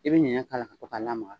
I bɛ ɲɛɲɛ k'a la ka to k'a lamaga